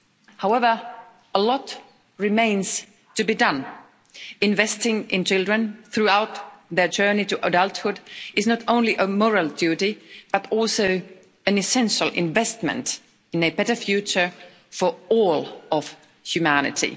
However, a lot remains to be done investing in children throughout their journey to adulthood is not only a moral duty but also an essential investment in a better future for all humanity.